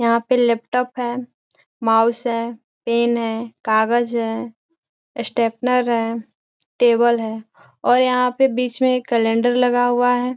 यहाँ पे लेपटॉप है माउस है पेन है कागज़ है स्टेपलर है टेबल है और यहाँ पे बीच में एक कैलेंडर लगा हुआ है।